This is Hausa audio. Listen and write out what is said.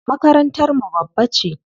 Makarantar mu babba ce.